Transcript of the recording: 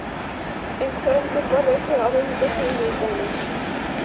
Um kvöldið borðuðu þau á veitingastað í miðbænum.